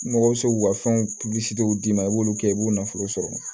Mɔgɔw bɛ se k'u ka fɛnw d'i ma i b'olu kɛ i b'u nafolo sɔrɔ